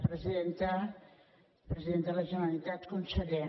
president de la generalitat conseller